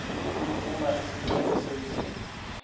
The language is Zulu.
uma isicelo senziwa